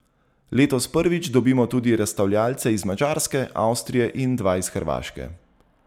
Letos prvič dobimo tudi razstavljavce iz Madžarske, Avstrije in dva iz Hrvaške.